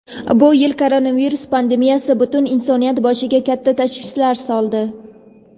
Bu yil koronavirus pandemiyasi butun insoniyat boshiga katta tashvishlar soldi.